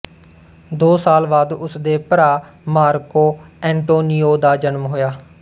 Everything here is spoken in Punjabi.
ਦੋ ਸਾਲ ਬਾਅਦ ਉਸ ਦੇ ਭਰਾ ਮਾਰਕੋ ਐਂਟੋਨੀਓ ਦਾ ਜਨਮ ਹੋਇਆ